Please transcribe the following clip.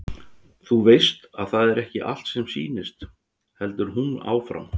Þú veist að það er ekki allt sem sýnist, heldur hún áfram.